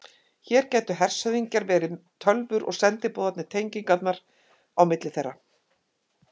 Hér gætu hershöfðingjarnir verið tölvur og sendiboðarnir tengingarnar á milli þeirra.